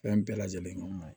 Fɛn bɛɛ lajɛlen nɔgɔ ma ɲin